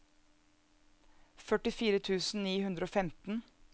førtifire tusen ni hundre og femten